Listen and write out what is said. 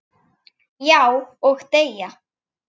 Já, og deyja